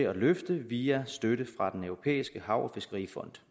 at løfte via støtte fra den europæiske hav og fiskerifond